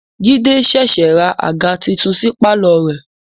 Jide ṣẹ̀ṣẹ̀ ra àga titun sí pàlọ́ rẹ̀ ni